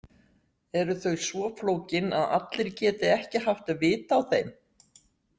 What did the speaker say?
Eru þau svo flókin að allir geti ekki haft vit á þeim?